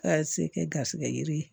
Ka se kɛ garisɛgɛ yiri ye